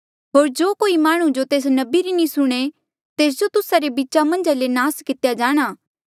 होर जो कोई माह्णुं जो तेस नबी री नी सुणे तेस जो तुस्सा रे बीचा मन्झा ले नास कितेया जाणा